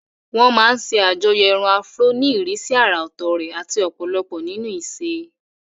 Wọ́n máa ń ṣe àjọyọ̀ irun Afro fún ìrísí àrà ọ̀tọ̀ rẹ̀ àti ọ̀pọ̀lọpọ̀ nínú ìṣe.